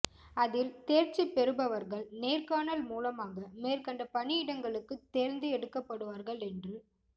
அதில் தேர்ச்சி பெறுபவர்கள் நேர்காணல் மூலமாக மேற்கண்ட பணியிடங்களுக்கு தேர்ந்து எடுக்கப்படுவார்கள் என்று